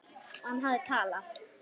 Og hann hafði talað.